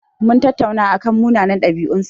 Mun tattauna akan munanan ɗabi'un sa.